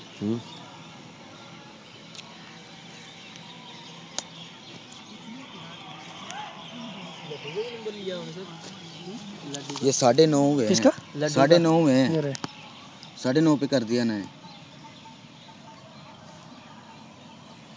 ਸਾਡੇ ਨੋ ਚ ਕਰਦੇ ।